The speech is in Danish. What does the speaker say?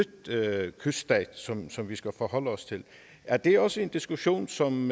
kyststat som som vi skal forholde os til er det også en diskussion som